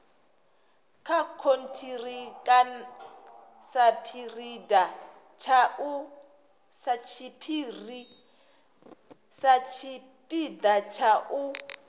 nga khonthiraka satshipida tsha u